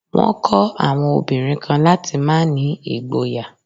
Wọ́n kọ́ àwọn obìnrin kan láti má ní ìgboyà.